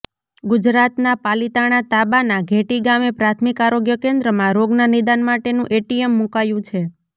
ગુજરાતના પાલિતાણા તાબાના ઘેટી ગામે પ્રાથમિક આરોગ્ય કેન્દ્રમાં રોગના નિદાન માટેનું એટીએમ મુકાયું છે